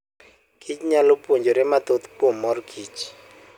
kich nyalo puonjore mathoth kuom mor kich.